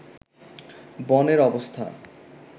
বনের অবস্থা